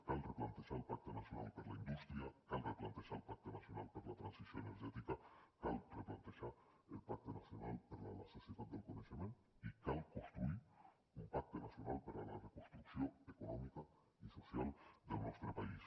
cal replantejar el pacte nacional per a la indústria cal replantejar el pacte nacional per a la transició energètica cal replantejar el pacte nacional per a la societat del coneixement i cal construir un pacte nacional per a la reconstrucció econòmica i social del nostre país